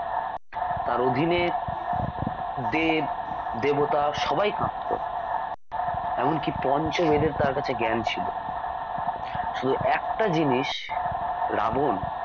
তাঁর অধীনে দেব দেবতা সবাই কাঁপতো এমনকী পঞ্চবেদের তাঁর কাছে জ্ঞান ছিল শুধু একটা জিনিস রাবন